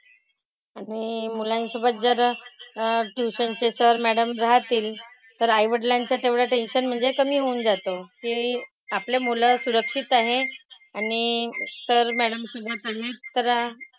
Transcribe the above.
आणि मुलांसोबत जर अह ट्युशन चे सर, मॅडम राहतील तर आईवडिलांचं तेवढं टेन्शन म्हणजे कमी होऊन जातं. की आपली मुलं सुरक्षित आहेत. आणि सर, मॅडम सुद्धा